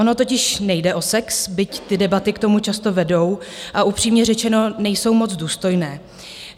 Ono totiž nejde o sex, byť ty debaty k tomu často vedou, a upřímně řečeno, nejsou moc důstojné.